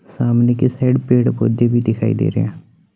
सामने की साइड पेड़ पौधे भी दिखाई दे रहे--